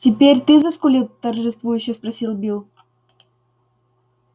теперь ты заскулил торжествующе спросил билл